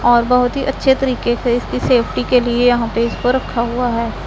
और बहोत ही अच्छे तरीके से इसकी सेफ्टी के लिए यहां पर इस को रखा हुआ है।